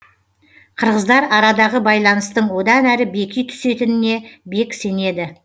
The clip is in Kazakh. қырғыздар арадағы байланыстың одан әрі беки түсетініне бек сенеді